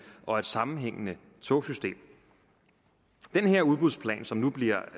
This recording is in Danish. og et sammenhængende togsystem den her udbudsplan som nu bliver